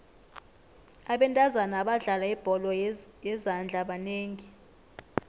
abentazana abadlala ibholo yezandla banengi